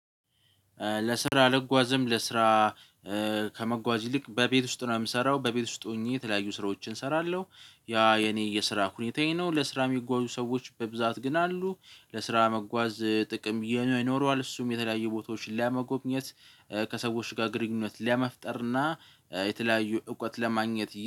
ለስራ ልጓዝም ለስራ ከመጓዝ ይልቅ በቤት ውስጥ ነው የምሰራው በቤት ውስጥ ሆኜ የተለያዩ ስራዎችን እሰራለሁ። ያ የኔ የስራ ሁኔታዬ ነው ለስራ የሚጓዙ ሰዎች በብዛት ግን አሉ። ለስራ መጓዝ ጥቅም ይኖረዋል እሱም የተለያዩ ቦታዎችን ለመጎብኘት። ከሰዎች ጋር ግንኙነት ለመፍጠር እና የተለያዩ እውቀት ለማግኘት